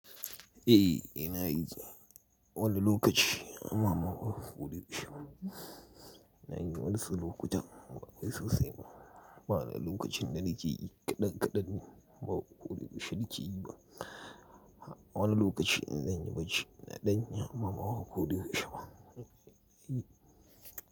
Eh ina yi, wani lokaci mama haƙo kuɗi kasha. Ina yi wani su lokuta ba kai sosai ba. Ba wani lokacin da ni ke yi kaɗan kaɗan ne, ba ku ƙude kasha da ke yi ba. Wani lokaci in zan yi bacci ina danyi amma bako da yaushe ba.